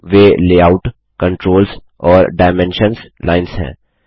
वे layout controls और dimensions lines हैं